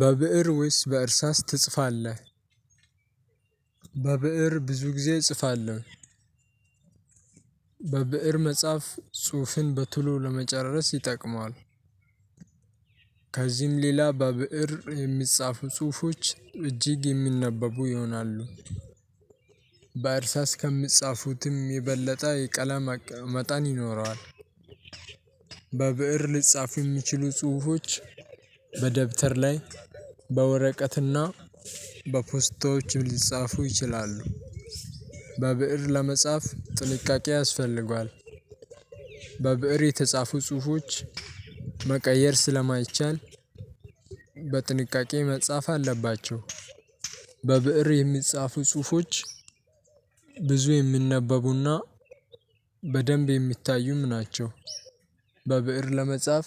በብእር ውስጥ በእርሳስ ትጽፋለህ በብእር ብዙ ጊዜ እጽፋለሁ በብእር መጻፍ ጽሁፍን በቶሎ ለመጨረስ ይጠቅማል። ከዚህም ሌላ በብእር የሚጻፉ ጽሁፎች እጅግ የሚነበቡ ይሆናሉ። በእርሳስ ከሚፃፉትም የበለጠ የቀለም መጠን ይኖረዋል። በብእር ሊጻፉ የሚችሉ ጽሁፎች በደብተር ላይ በወረቀትና በፖስታዎችም ሊጻፉ ይችላሉ። በብእር ለመጻፍ ጥንቃቄ ያስፈልገዋል። በብእር የተጻፉ ጽሁፎች መቀየር ስለማይቻል በጥንቃቄ መጻፍ አለባቸው። በብእር የሚፃፉ ፅሁፍች ብዙ የሚነበቡና በደንብ የሚታዩም ናቸው። በብእር ለመጻፍ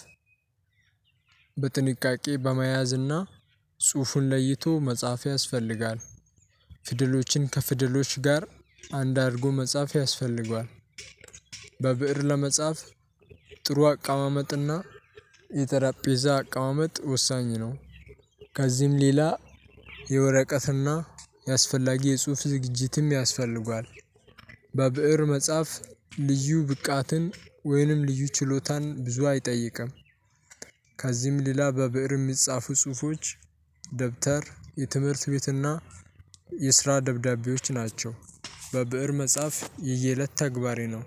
በጥንቃቄ በመያዝ እና ጽሁፉን ለይቶ መጻፍ ያስፈልጋል። ፊደሎችን ከፊደሎች ጋር አንድ አድርጎ መጻፍ ያስፈልጋል። በብእር ለመጻፍ ጥሩ አቀማመጥና የጠረጴዛ አቀማመጥ ወሳኝ ነው። ከዚህም ሌላ የወረቀትና የአስፈላጊ የጽሁፍ ዝግጅትም ያስፈልጋል። በብእር መጻፍ ልዩ ብቃትን ወይንም ልዩ ችሎታን ብዙ አይጠይቅም። ከዚህም ሌላ በብእር የሚፃፉ ፅሁፎች ደብተር፣ የትምህርት ቤትና የስራ ደብዳቤዎች ናቸው። በብእር መጻፍ የየእለት ተግባሬ ነው።